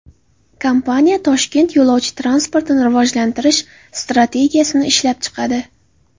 Kompaniya Toshkent yo‘lovchi transportini rivojlantirish strategiyasini ishlab chiqadi.